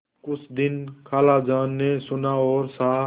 कुछ दिन खालाजान ने सुना और सहा